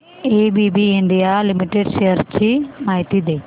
ABB India limited shares ची माहिती दे